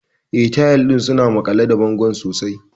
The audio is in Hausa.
Eh, tayal ɗin suna maƙale da bango sosai.